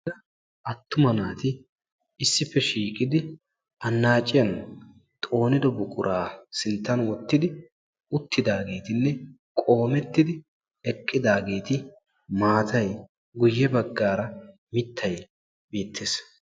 Attuma naati issippe shiiqidi annaacciyan xoonido buquraa sinttan wottidi uttidaageetinne qoomettidi eqqidaageeti maatay guyye baggaara mittay beettes.